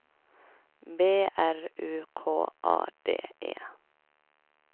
B R U K A D E